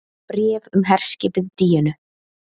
BRÉF UM HERSKIPIÐ DÍÖNU